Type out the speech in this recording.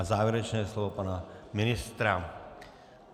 A závěrečné slovo pana ministra.